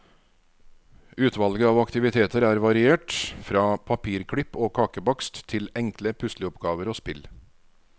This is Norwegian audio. Utvalget av aktiviteter er variert, fra papirklipp og kakebakst til enkle pusleoppgaver og spill.